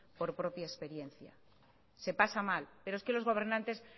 por propia experiencia se pasa mal pero es que los gobernantes